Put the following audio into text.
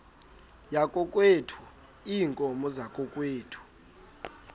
yakokwethu iinkomo zakokwethu